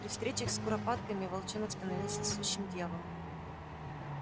при встречах с куропатками волчонок становился сущим дьяволом